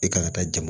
I kan ka taa jama